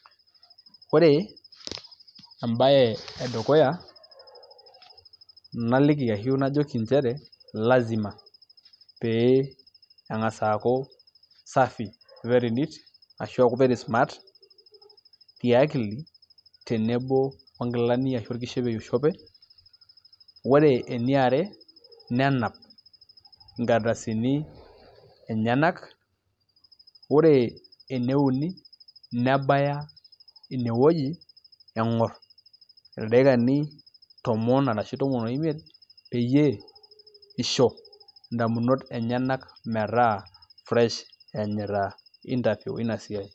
Ore embae e dukuya naliki ashu najoki nchere lazima pee eng'as aaku safi, very neat ashu very smart tiakili tenebo o nkilani ashu orkishopo oishope, ore eniare nenap inkardasini enyenak. Ore ene uni nebaya inewuei eng'orr ildaikani tomon arashu tomon oimiet peyiebisho indamunot enyenak metaa fresh eenyita interview ina siai